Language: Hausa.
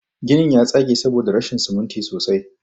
Ginin ya tsage saboda rashin siminti sosai.